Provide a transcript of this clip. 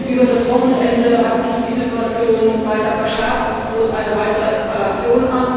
Über das Wochenende hat sich die Situation weiter verschärft, es droht eine weitere Eskalation.